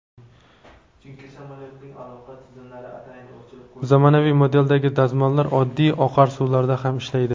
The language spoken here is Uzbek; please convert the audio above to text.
Zamonaviy modeldagi dazmollar oddiy oqar suvlarida ham ishlaydi.